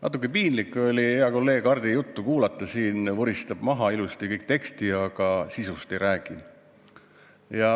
Natuke piinlik oli hea kolleegi Hardi juttu kuulata, ta vuristas teksti ilusasti maha, aga sisust ei rääkinud.